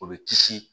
O bɛ kisi